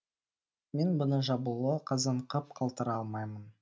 мен бұны жабулы қазан қып қалтыра алмаймын